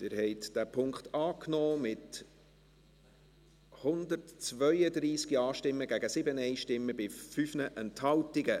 Sie haben diesen Punkt angenommen, mit 132 Ja- gegen 7 Nein-Stimmen bei 5 Enthaltungen.